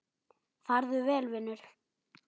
Farðu vel, vinur.